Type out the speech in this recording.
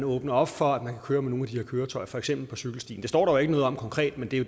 åbner op for at man kan køre med nogle af de her køretøjer på for eksempel cykelstien det står der ikke noget om konkret men det er